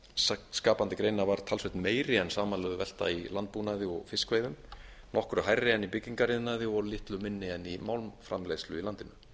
velta skapandi greina var talsvert meiri en samanlögð velta í landbúnaði og fiskveiðum nokkru hærri en í byggingariðnaði og litlu minni en í málmframleiðslu í landinu